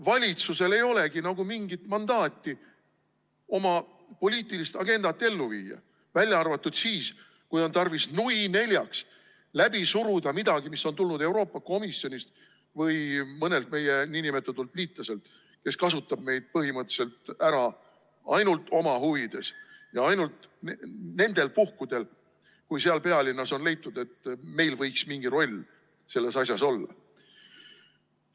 Valitsusel ei olegi nagu mingit mandaati oma poliitilist agendat ellu viia, välja arvatud siis, kui on tarvis nui neljaks läbi suruda midagi, mis on tulnud Euroopa Komisjonist või mõnelt meie nn liitlaselt, kes kasutab meid põhimõtteliselt ära ainult oma huvides ja ainult nendel puhkudel, kui seal pealinnas on leitud, et meil võiks mingi roll selles asjas olla.